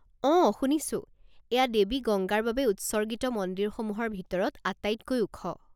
অঁ, শুনিছোঁ। এয়া দেৱী গংগাৰ বাবে উৎসৰ্গিত মন্দিৰসমূহৰ ভিতৰত আটাইতকৈ ওখ।